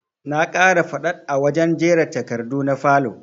Na ƙara faɗaɗ a wajen jera takardu na falow